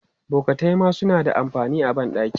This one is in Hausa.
Bokatai ma suna da amfani a ban ɗaki.